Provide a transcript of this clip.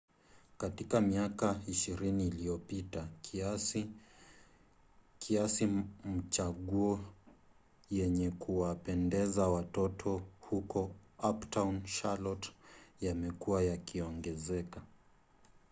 katika miaka 20 iliyopita kiasi machaguo yenye kuwapendeza watoto huko uptown charlotte yamekuwa yakiongezeka